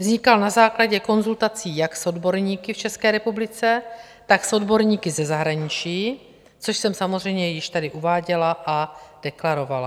Vznikal na základě konzultací jak s odborníky v České republice, tak s odborníky ze zahraničí, což jsem samozřejmě již tady uváděla a deklarovala.